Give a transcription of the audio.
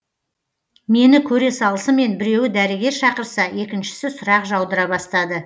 мені көре салысымен біреуі дәрігер шақырса екіншісі сұрақ жаудыра бастады